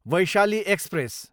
Vaishali express